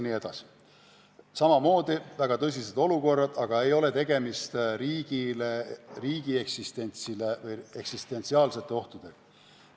Need on väga tõsised olukorrad, aga ei ole tegemist riigi eksistentsi ähvardavate ohtudega.